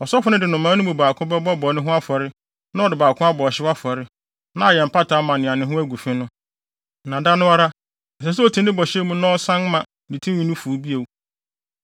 Ɔsɔfo no de nnomaa no mu baako bɛbɔ bɔne ho afɔre na ɔde ɔbaako abɔ ɔhyew afɔre, na ayɛ mpata ama nea ne ho agu fi no. Na da no ara, ɛsɛ sɛ oti ne bɔhyɛ mu na ɔsan ma ne tinwi no fuw bio.